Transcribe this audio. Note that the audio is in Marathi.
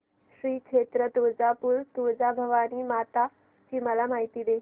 श्री क्षेत्र तुळजापूर तुळजाभवानी माता ची मला माहिती दे